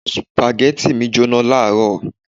Spaghetti mi jóná ní àárọ̀